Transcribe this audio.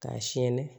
K'a siyɛn